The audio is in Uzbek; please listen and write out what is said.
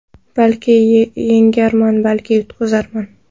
Balki yengarman, balki yutqizarman.